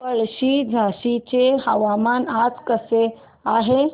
पळशी झाशीचे हवामान आज कसे आहे